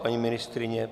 Paní ministryně?